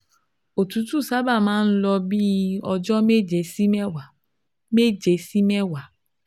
Òtútù sábà máa ń lo bí i ọjọ́ méje sí mẹ́wàá méje sí mẹ́wàá